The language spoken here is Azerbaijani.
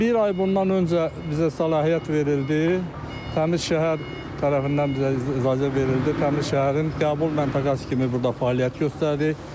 Bir ay bundan öncə bizə səlahiyyət verildi, Təmiz Şəhər tərəfindən bizə icazə verildi, Təmiz Şəhərin qəbul məntəqəsi kimi burda fəaliyyət göstərdi.